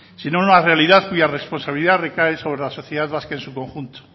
sino una realidad cuya responsabilidad recae sobre la sociedad vasca en su conjunto